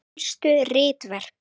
Helstu ritverk